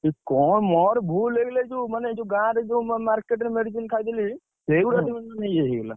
ଏ କଣ ମୋର ଭୁଲ ହେଇଗଲେ ଏ ଯୋଉ ମାନେ ଯୋଉ ଗାଁରେ ଯୋଉ market ରେ medicine ଖାଇଦେଲି। ସେଇଗୁଡା ଟିକେ ଇଏ ହେଇଗଲା।